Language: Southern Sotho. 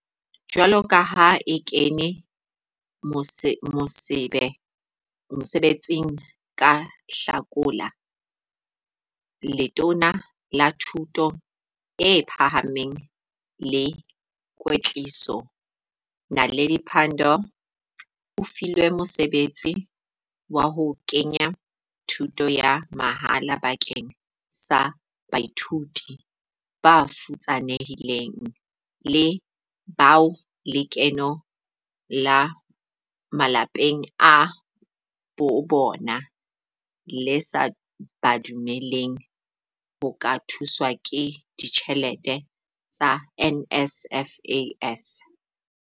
Jwalo ka ha a kene mosebe tsing ka Hlakola, Letona la Thuto e Phahameng le Kwetliso, Naledi Pandor o filwe mosebetsi wa ho ke nya thuto ya mahala bakeng sa baithuti bafutsanehileng le " bao lekeno la malapeng a bobona le sa ba dumelleng ho ka thuswa ka ditjhelete tsa NSFAS".